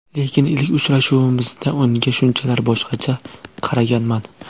Lekin ilk uchrashuvimizda unga shunchalar boshqacha qaraganman.